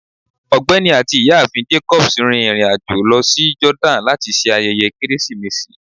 Ọgbẹni ati Iyaafin Jacobs rin irin-ajo lọ si Jordani lati ṣe ayẹyẹ Keresimesi